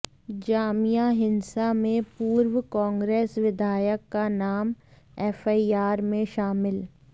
जामिया हिंसा में पूर्व कांग्रेस विधायक का नाम एफआईआर में शामिल